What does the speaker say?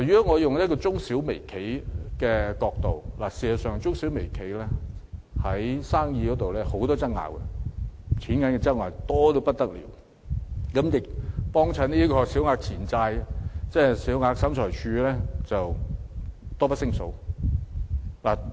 我從中小微企的角度去看，中小微企在生意上有很多糾紛，因金錢糾紛而須在審裁處進行訴訟的案件多不勝數。